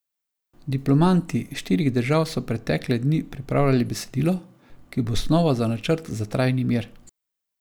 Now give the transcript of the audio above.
Diplomati štirih držav so pretekle dni pripravljali besedilo, ki bo osnova za načrt za trajni mir.